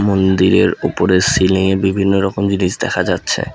মন্দিরের উপরে সিলিংয়ে বিভিন্ন রকম জিনিস দেখা যাচ্ছে।